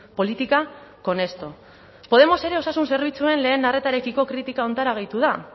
política con esto podemos ere osasun zerbitzuen lehen arretarekiko kritika honetara gehitu da